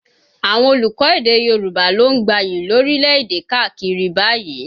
Àwọn olùkọ́ èdè Yorùbá ló ń gbayì lórílẹ̀ èdè káàkiri báyìí